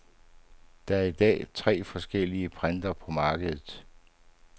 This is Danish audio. Der er i dag tre forskellige typer printere på markedet.